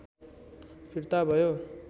फिर्ता भयो